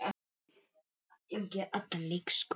Heimir tekur undir.